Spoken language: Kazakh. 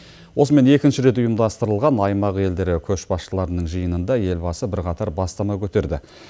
осымен екінші рет ұйымдастырылған аймақ елдері көшбасшыларының жиынында елбасы бірқатар бастама көтерді